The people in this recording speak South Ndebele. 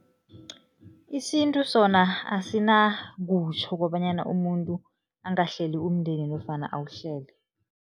Isintu sona asinakutjho kobanyana umuntu angahleli umndeni nofana awuhlele.